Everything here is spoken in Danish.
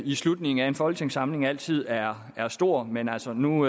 i slutningen af en folketingssamling altid er stort men altså nu